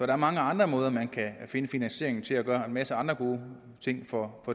er mange andre måder man kan finde finansieringen til at gøre en masse andre gode ting for